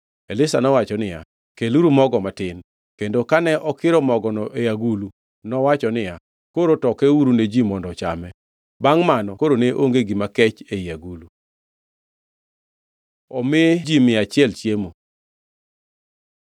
Elisha nowacho niya, “Keluru mogo matin.” Kendo kane okiro mogono e agulu nowacho niya, “Koro tokeuru ne ji mondo ochame.” Bangʼ mano koro ne onge gima kech ei agulu. Omi ji mia achiel chiemo